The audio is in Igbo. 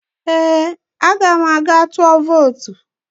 Ee, aga m aga tụọ vootu